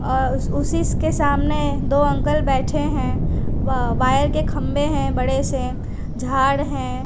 अ उसीस के सामने दो अंकल बैठे है व वायर के खंभे है बड़े से झाड़ है।